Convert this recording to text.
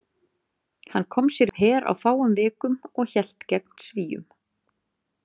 Hann kom sér upp her á fáum vikum og hélt gegn Svíum.